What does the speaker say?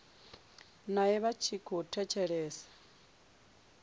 nae vha tshi khou thetshelesa